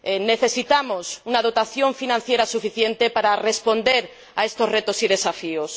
Necesitamos una dotación financiera suficiente para responder a estos retos y desafíos.